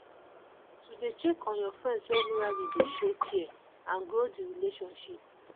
to de check on your friends regularly de show care and grow the relationship